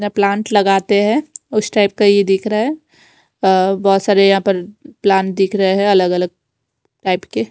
Plant लगाते हैं उस टाइप का ये दिख रहा है अ बहोत सारे यहां पर प्लांट दिख रहे हैं अलग अलग टाइप के।